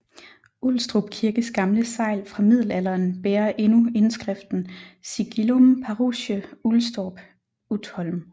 Ulstrup Kirkes gamle segl fra middelalderen bærer endnu indskriften Sigillum Parochie Ulstorp Utholm